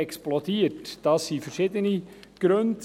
Dafür gibt es verschiedene Gründe;